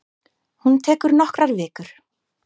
Hún tekur nokkrar vikur.